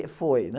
E foi, né?